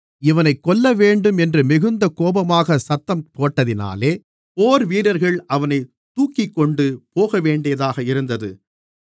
இவனைக் கொல்லவேண்டும் என்று மிகுந்த கோபமாக சத்தம் போட்டதினாலே போர்வீரர்கள் அவனைத் தூக்கிக்கொண்டு போகவேண்டியதாக இருந்தது